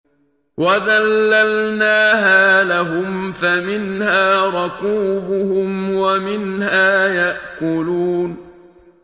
وَذَلَّلْنَاهَا لَهُمْ فَمِنْهَا رَكُوبُهُمْ وَمِنْهَا يَأْكُلُونَ